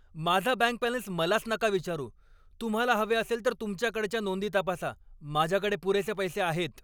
माझा bank balance मलाच नका विचारू. तुम्हाला हवे असेल तर तुमच्याकडच्या नोंदी तपासा. माझ्याकडे पुरेसे पैसे आहेत.